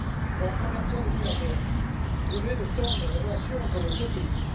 Pour la première fois depuis la guerre, vous venez de tendre les relations entre nos deux pays